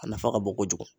A nafa ka bon kojugu